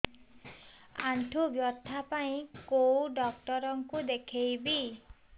ଆଣ୍ଠୁ ବ୍ୟଥା ପାଇଁ କୋଉ ଡକ୍ଟର ଙ୍କୁ ଦେଖେଇବି